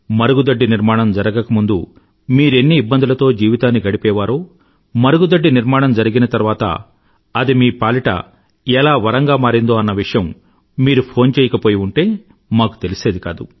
మరుగుదొడ్డి నిర్మాణం జరగక ముందు మీరెన్ని ఇబ్బందులతో జీవితాన్ని గడిపేవారో మరుగుదొడ్డి నిర్మాణం జరిగిన తర్వాత అది మీ పాలిట ఎలా వరంగా మారిందో అన్న విషయం మీరు ఫోన్ చేయకపోయి ఉంటే మాకు తెలిసేది కాదు